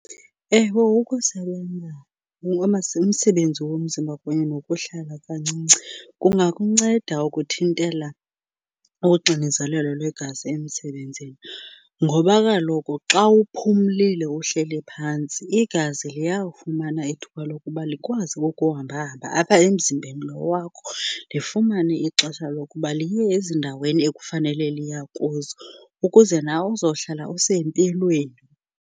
Ewe ukusebenza umsebenzi womzimba kunye nokuhlala kancinci kungakunceda ukuthintela uxinezelelo lwegazi emsebenzini. Ngoba kaloku xa uphumlile uhleli phantsi igazi liyawufumana ithuba lokuba likwazi ukuhambahamba apha emzimbeni loo wakho, lifumane ixesha lokuba liye ezindaweni ekufanele liya kuzo ukuze nawe uzohlala usempilweni.